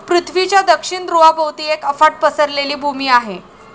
पृथ्वीच्या दक्षिण धृवाभोवती एक अफाट पसरलेली भूमी आहे.